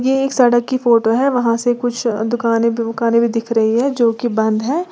ये एक सड़क की फोटो है वहां से कुछ दुकाने बुकानें भी दिख रही है जो कि बंद है।